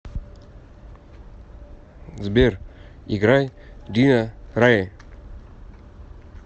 сбер играй дина рае